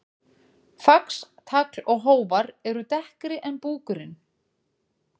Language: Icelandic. Fax, tagl og hófar eru dekkri en búkurinn.